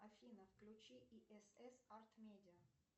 афина включи исс арт медиа